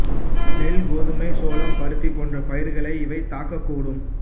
நெல் கோதுமை சோளம் பருத்தி போன்ற பயிர்களை இவை தாக்கக் கூடும்